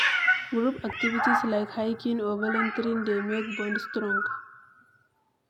Group activities like hiking or volunteering dey make bond strong